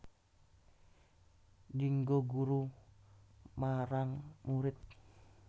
Dienggo guru marang murid